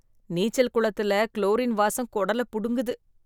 நீச்சல் குளத்தில குளோரின் வாசம் குடல புடுங்குது.